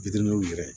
yɛrɛ